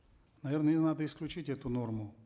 наверно ее надо исключить эту норму